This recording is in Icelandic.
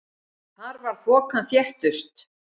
Þar var þokan þéttust.